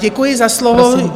Děkuji za slovo.